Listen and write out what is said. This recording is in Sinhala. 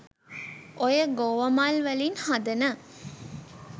ඔය ගෝව මල් වලින් හදන